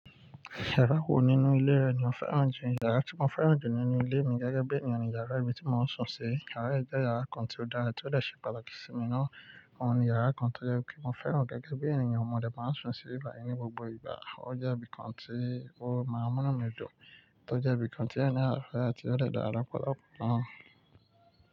Yàrá wo nínú ilé rẹ ni o fẹ́ràn jù? Yàrá tí mo fẹ́ràn jù nínú ilé mi gẹ́gẹ́ bí ènìyàn ni yàrá ibi tí mò ń sùn sí. Yàrá yìí jẹ́ yàrá kan tí ó dára, tí ó dè ṣe pàtàkì sí mi nọ́ọ̀. Óhun ni yàrá kan tó jẹ́ pé mo fẹ́ràn gẹ́gẹ́ bí ènìyàn mọ̀ de maa ń sùn síbi bayi ni gbogbo ìgbà. Ọ jẹ́ ibì kan tí ó máa n múnú mi dùn, tó jẹ́ ibì kan tí ẹni naa fẹ́, tí ó dẹ dára lọpọlọpọ naa.